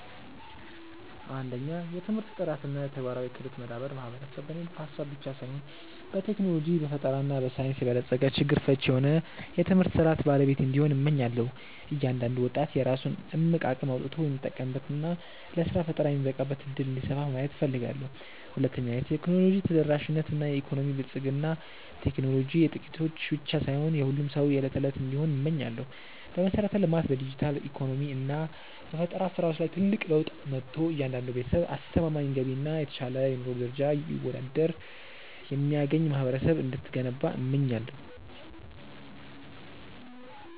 1. የትምህርት ጥራት እና የተግባራዊ ክህሎት መዳበር ማህበረሰብ በንድፈ-ሐሳብ ብቻ ሳይሆን በቴክኖሎጂ፣ በፈጠራ እና በሳይንስ የበለጸገ፣ ችግር ፈቺ የሆነ የትምህርት ሥርዓት ባለቤት እንዲሆን፣ እመኛለሁ። እያንዳንዱ ወጣት የራሱን እምቅ አቅም አውጥቶ የሚጠቀምበት እና ለሥራ ፈጠራ የሚበቃበት ዕድል እንዲሰፋ ማየት እፈልጋለሁ። 2. የቴክኖሎጂ ተደራሽነት እና የኢኮኖሚ ብልጽግና ቴክኖሎጂ የጥቂቶች ብቻ ሳይሆን የሁሉም ሰው የዕለት እንዲሆን እመኛለሁ። በመሠረተ-ልማት፣ በዲጂታል ኢኮኖሚ እና በፈጠራ ሥራዎች ላይ ትልቅ ለውጥ መጥቶ፣ እያንዳንዱ ቤተሰብ አስተማማኝ ገቢ እና የተሻለ የኑሮ ደረጃ ይወዳድር የሚያገኝ ማህበረሰብ እንድትገነባ እመኛለሁ።